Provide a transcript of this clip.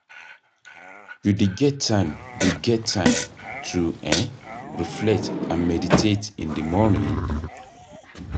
you dey get time dey get time to um reflect and meditate in di morning?